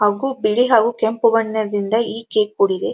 ಅವು ಬಿಳಿ ಹವು ಕೆಂಪು ಬಣ್ಣ ಇರತೈತಿ ಈಚೆ ಕೊಡಿಗಿ‌ .